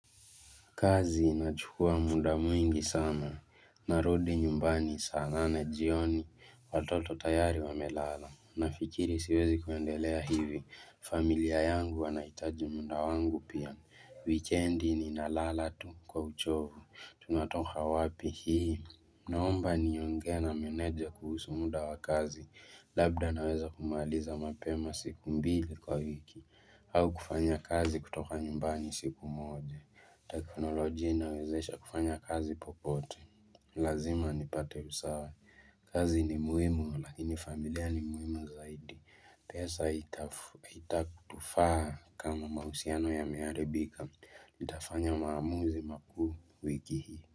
Kazi inachukua muda mwingi sana, narudi nyumbani, saa nane jioni, watoto tayari wa melala. Nafikiri siwezi kuendelea hivi, familia yangu wanahitaji muda wangu pia. Weekendi nina lala tu kwa uchovu, tunatoka wapi hii. Naomba nionge na meneja kuhusu muda wa kazi, labda naweza kumaliza mapema siku mbili kwa wiki. Au kufanya kazi kutoka nyumbani siku moja. Teknolojia inawezesha kufanya kazi popote Lazima nipate husawa kazi ni muhimu lakini familia ni muhimu zaidi pesa itakutufaa kama mahusiano yame haribika nitafanya maamuzi makuu wiki hii.